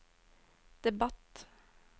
debatt